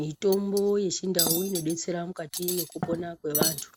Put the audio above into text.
Mitombo yechindau inodetsera mukati mwekupona kwevantu